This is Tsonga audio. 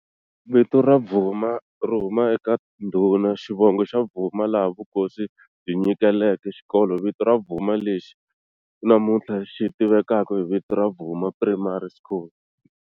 Vito ra Bvuma ri huma eka ndhuna xivongo xa Bvuma laha Vukosi byi nyikeke Xikolo vito ra Bvuma lexi namuntlha xi tivekaka hi vito ra Bvuma Primary School.